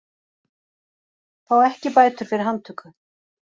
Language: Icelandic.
Fá ekki bætur fyrir handtöku